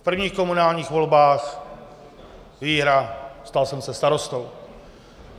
V prvních komunálních volbách - výhra, stal jsem se starostou.